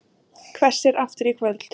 Hvessir aftur í kvöld